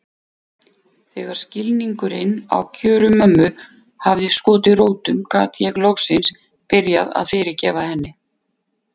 Þegar skilningurinn á kjörum mömmu hafði skotið rótum gat ég loksins byrjað að fyrirgefa henni.